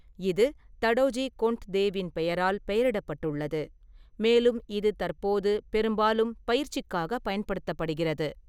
இது தடோஜி கொண்ட்தேவின் பெயரால் பெயரிடப்பட்டுள்ளது, மேலும் இது தற்போது பெரும்பாலும் பயிற்சிக்காக பயன்படுத்தப்படுகிறது.